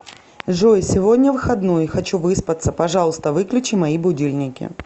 джой сегодня выходной хочу выспаться пожалуйста выключи мои будильники